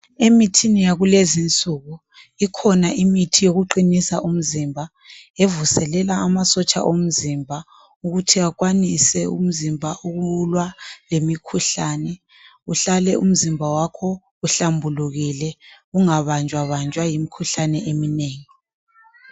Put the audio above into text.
Emithini yakulezi nsuku ikhona imithi yokuqinisa umzimba evuselela amasotsha omzimba ukuthi akwanise umzimba ukulwa lemikhuhlane uhlale umzimba wakho uhlambulukile ungabanjwa banjwa yimkhuhlane eminengi